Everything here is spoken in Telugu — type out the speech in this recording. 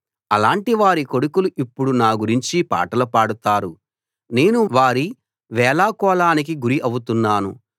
అలాంటివారి కొడుకులు ఇప్పుడు నా గురించి పాటలు పాడుతారు నేను వారి వేళాకోళానికి గురి అవుతున్నాను